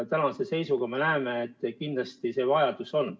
Ja tänase seisuga me näeme, et kindlasti see vajadus on.